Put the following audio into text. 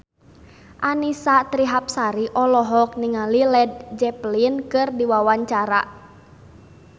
Annisa Trihapsari olohok ningali Led Zeppelin keur diwawancara